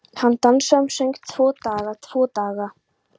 Hann dansaði um og söng: Tvo daga, tvo daga